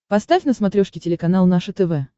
поставь на смотрешке телеканал наше тв